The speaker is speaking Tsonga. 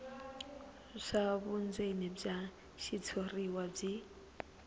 swa vundzeni bya xitshuriwa byi